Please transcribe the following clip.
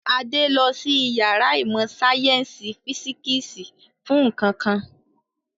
Adé lọ sí ìyàrá ìmọ̀-sáyẹ́ńsì físíkísì fún nǹkan kan.